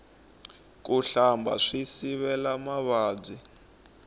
ku hlamba swi sivela mavabyi